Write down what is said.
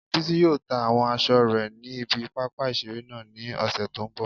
Bísí yóò ta àwọn aṣọ rẹ̀ ní ibi pápá ìseré náà ní ọ̀sẹ̀ tó n bọ̀